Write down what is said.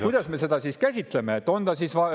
Kuidas me seda siis käsitleme?